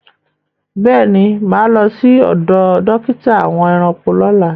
Béèni, máa lọ sí ọdọ̀ dókítà àwọn ẹranko lọ́lá.